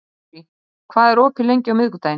Marie, hvað er opið lengi á miðvikudaginn?